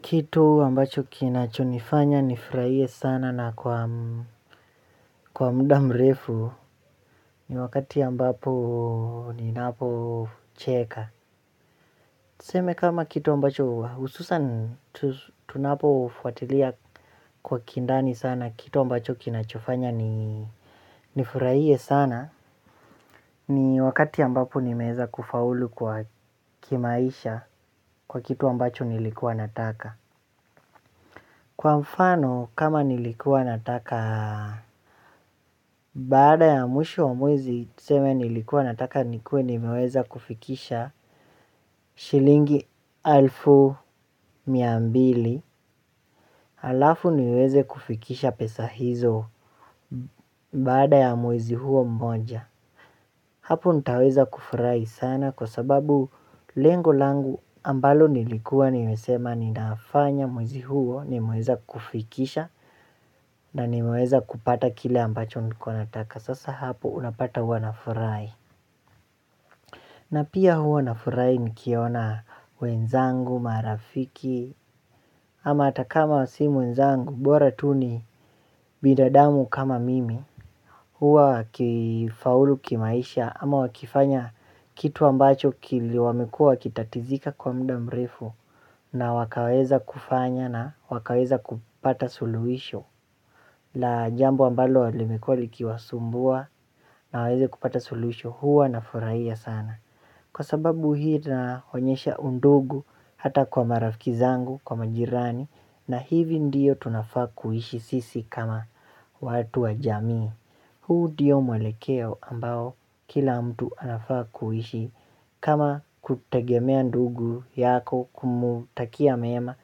Kitu ambacho kinachonifanya nifurahie sana na kwa muda mrefu ni wakati ambapo ninapocheka. Tuseme kama kitu ambacho hususan tunapofwatilia kwa kindani sana kitu ambacho kinachofanya nifurahie sana ni wakati ambapo nimeweza kufaulu kwa kimaisha kwa kitu ambacho nilikuwa nataka. Kwa mfano kama nilikuwa nataka baada ya mwisho wa mwezi tuseme nilikuwa nataka nikuwe nimeweza kufikisha shilingi elfu mia mbili. Alafu niweze kufikisha pesa hizo baada ya mwezi huo mmoja. Hapo nitaweza kufurahi sana kwa sababu lengo langu ambalo nilikuwa nimesema ninafanya mwezi huo nimeweza kufikisha. Na nimeweza kupata kile ambacho nilikuwa nataka sasa hapo unapata huwa nafurahi. Na pia huwa nafurahi nikiona wenzangu marafiki. Ama hata kama si wenzangu bora tu ni binadamu kama mimi. Huwa wakifaulu kimaisha ama wakifanya kitu ambacho kile wamekuwa wakitatizika kwa muda mrefu na wakaweza kufanya na wakaweza kupata suluhisho. Na jambo ambalo limekuwa likiwasumbua na waweze kupata suluhisho huwa na furahia sana. Kwa sababu hii tunaonyesha undugu hata kwa marafiki zangu kwa majirani na hivi ndio tunafaa kuishi sisi kama watu wajamii. Huu ndiyo mwelekeo ambao kila mtu anafaa kuishi kama kutegemea ndugu yako kumtakia mema.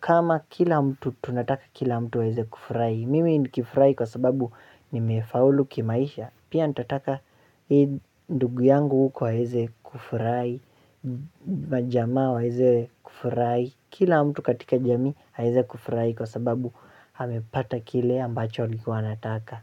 Kama kila mtu tunataka kila mtu aweze kufurahi Mimi nikifurahi kwa sababu nimefaulu kimaisha. Pia nitataka hii ndugu yangu huku aweze kufurahi. Majamaa waweze kufurahi. Kila mtu katika jamii aweze kufurahi kwa sababu amepata kile ambacho alikuwa anataka.